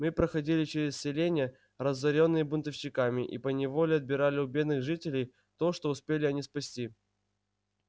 мы проходили через селения разорённые бунтовщиками и поневоле отбирали у бедных жителей то что успели они спасти